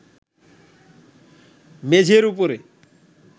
মেঝের উপরে